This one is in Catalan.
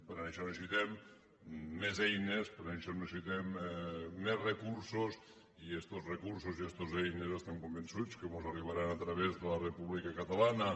per això necessitem més eines per això necessitem més recursos i estos recursos i estes eines estem convençuts que mos arribaran a través de la república catalana